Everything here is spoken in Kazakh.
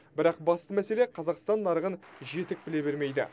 бірақ басты мәселе қазақстан нарығын жетік біле бермейді